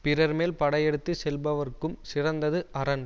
பிறர் மேல் படை எடுத்து செல்பவர்க்கும் சிறந்தது அரண்